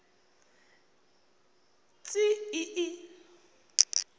tsi i i